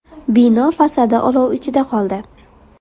Bino fasadi olov ichida qoldi.